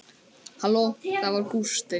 Halló, það var Gústi.